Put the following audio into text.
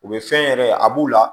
U bɛ fɛn yɛrɛ a b'u la